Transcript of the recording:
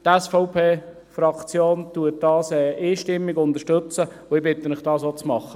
Die SVP-Fraktion unterstützt sie einstimmig, und ich bitte Sie, dies auch zu tun.